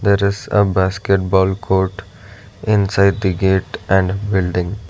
that is a basket ball court inside the gate and building.